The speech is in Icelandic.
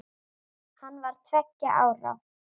Hann var tveggja ára.